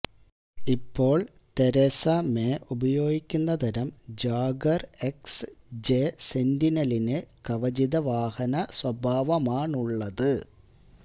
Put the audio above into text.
ഇപ്പോൾ Theresa May ഉപയോഗിക്കുന്ന തരം ജാഗ്വർ എക്സ് ജെ സെന്റിനലിനു കവചിത വാഹന സ്വഭാവമാണുള്ളത്